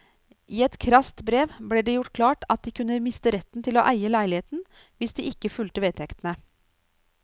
I et krast brev ble det gjort klart at de kunne miste retten til å eie leiligheten hvis de ikke fulgte vedtektene.